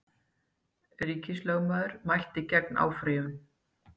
Ríkislögmaður mælti gegn áfrýjun